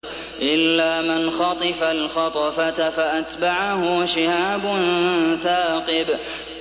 إِلَّا مَنْ خَطِفَ الْخَطْفَةَ فَأَتْبَعَهُ شِهَابٌ ثَاقِبٌ